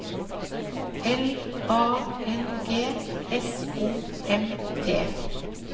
L A N G S O M T